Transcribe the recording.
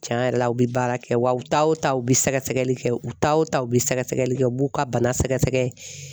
Tiɲɛn yɛrɛ la u bɛ baara kɛ wa u taw ta u bɛ sɛgɛsɛgɛli kɛ u taw ta u bɛ sɛgɛsɛgɛli kɛ u b'u ka bana sɛgɛsɛgɛ.